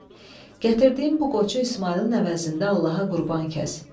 Gətirdiyim bu qoçu İsmayılın əvəzində Allaha qurban kəs."